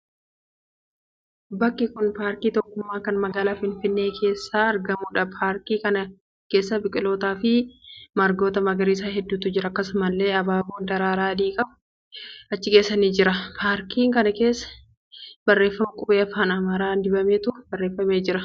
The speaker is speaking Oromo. Bakki kun paarkii Tokkummaa kan magaalaa Finfinnee keessatti argamuudha. Paarkii kana keessa biqilootaa fi margoota magariisa hedduutu jira. Akkasumallee abaaboon daraaraa adii qabu achi keessa jira. Paarkii kana keessa barreeffama qubee afaan Amaaraan diimatee barreeffamee jira.